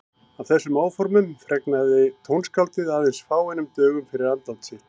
Af þessum áformum fregnaði tónskáldið aðeins fáeinum dögum fyrir andlát sitt.